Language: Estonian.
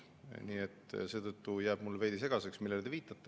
Nii et seetõttu jääb mulle veidi segaseks, millele te viitate.